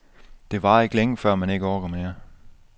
Det varer ikke længe, før man ikke orker mere.